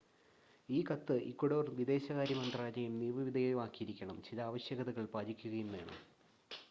ഈ കത്ത് ഇക്വഡോർ വിദേശകാര്യ മന്ത്രാലയം നിയമവിധേയമാക്കിയിരിക്കണം ചില ആവശ്യകതകൾ പാലിക്കുകയും വേണം